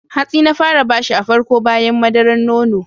Hatsi na fara bashi a farko bayan madararan nono.